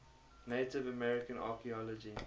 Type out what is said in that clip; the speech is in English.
native american archeology